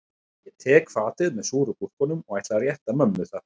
Ég tek fatið með súru gúrkunum og ætla að rétta mömmu það